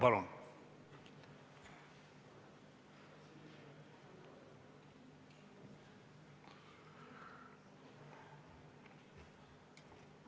Palun!